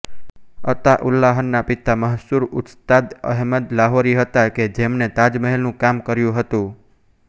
અતાઉલ્લાહના પિતા મશહુર ઉસ્તાદ અહેમદ લાહોરી હતા કે જેમને તાજમહેલનું કામ કર્યું હતું